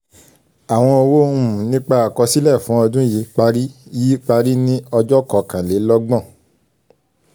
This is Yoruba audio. àwọn owó um nípa àkọsílẹ̀ fún ọdún yìí parí yìí parí ní ọjọ́ kọkàn-lé-lọ́gbọ̀n.